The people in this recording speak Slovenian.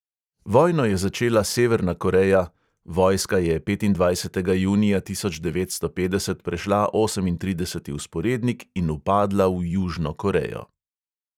Vojno je začela severna koreja, vojska je petindvajsetega junija tisoč devetsto petdeset prešla osemintrideseti vzporednik in vpadla v južno korejo.